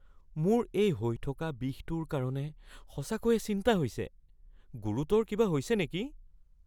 মোৰ এই হৈ থকা বিষটোৰ কাৰণে সঁচাকৈয়ে চিন্তা হৈছে। গুৰুতৰ কিবা হৈছে নেকি?